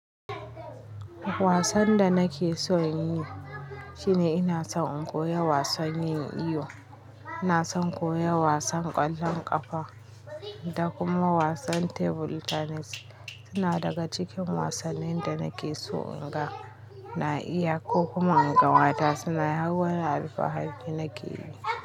Wasan da nake so in yi shine ina son koya wasan yin iyo. Ina son koya wasan ƙwallon ƙafa da kuma wasan table tennis. Suna daga cikin wasannin da nake so in ga na iya ko kuma in ga mata suna hawan alfahari nake yi.